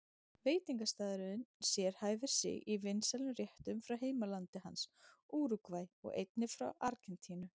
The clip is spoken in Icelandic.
Veitingastaðurinn sérhæfir sig í vinsælum réttum frá heimalandi hans, Úrúgvæ, og einnig frá Argentínu.